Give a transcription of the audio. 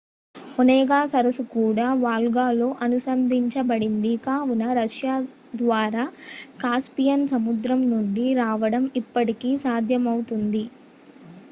Onega సరస్సు కూడా వోల్గాతో అనుసంధానించబడింది కావున రష్యా ద్వారా కాస్పియన్ సముద్రం నుండి రావడం ఇప్పటికీ సాధ్యపడుతుంది